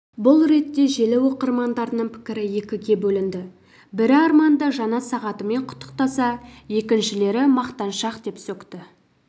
бұл ретте желі оқырмандарының пікірі екіге бөлінді бірі арманды жаңа сағатымен құттықтаса екіншілері мақтаншақ деп сөкті